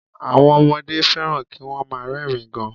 Àwọn ọmọdé fẹ́ràn kí wọ́n má a rẹ́rìn ín gan